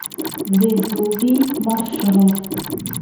везувий маршрут